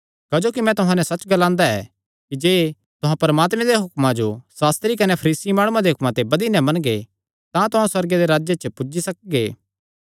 क्जोकि मैं तुहां नैं सच्च ग्लांदा ऐ कि जे तुहां परमात्मे दे हुक्मां जो सास्त्री कने फरीसी माणुआं दे हुक्मां ते बधी नैं मनगे तां तुहां सुअर्गे दे राज्जे च पुज्जी सकगे